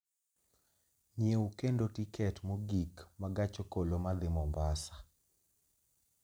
nyiew kendo tiket mogik ma gach okoloma dhi Mombasa